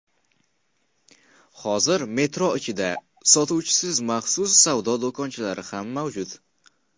Hozir metro ichida sotuvchisiz maxsus savdo do‘konchalari ham mavjud.